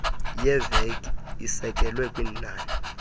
yeveki isekelwe kwinani